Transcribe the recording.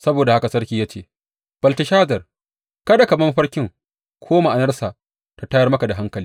Saboda haka sarki ya ce, Belteshazar, kada ka bar mafarkin ko ma’anarsa ta tayar maka da hankali.